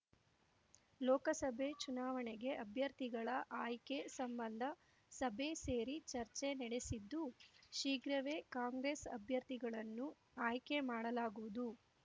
ಲೋಕಸಭೆ ಚುನಾವಣೆಗೆ ಅಭ್ಯರ್ಥಿಗಳ ಆಯ್ಕೆ ಸಂಬಂಧ ಸಭೆ ಸೇರಿ ಚರ್ಚೆ ನಡೆಸಿದ್ದು ಶೀಘ್ರವೇ ಕಾಂಗ್ರೆಸ್ ಅಭ್ಯರ್ಥಿಗಳನ್ನು ಆಯ್ಕೆ ಮಾಡಲಾಗುವುದು